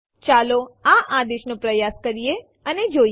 ચાલો આ આદેશ નો પ્રયાસ કરીએ અને જોઈએ